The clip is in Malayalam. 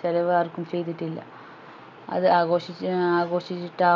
ചെലവ് ആർക്കും ചെയിതിട്ടില്ല അത് ആഘോഷിച്ച് ആഘോഷിട്ടാ